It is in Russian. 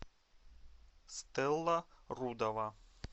стелла рудова